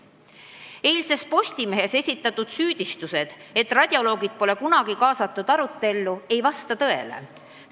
Eilses Postimehes esitatud süüdistused, et radiolooge pole eelnõu arutellu kaasatud, on alusetud.